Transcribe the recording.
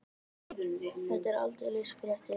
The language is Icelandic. Þetta eru aldeilis fréttir.